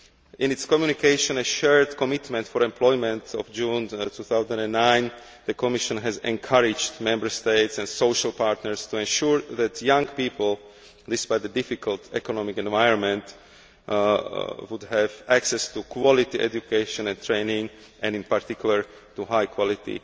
In its Communication A shared commitment for employment' of June 2009, the Commission has encouraged Member States and social partners to ensure that young people, despite the difficult economic environment, have access to quality education and training and, in particular, to high quality